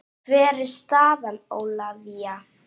Hver er staðan Ólafía?